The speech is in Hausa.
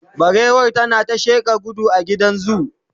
barewar tana ta sheƙa gudu a gidan zoo.